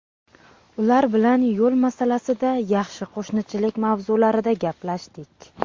Ular bilan yo‘l masalasida, yaxshi qo‘shnichilik mavzularida gaplashdik.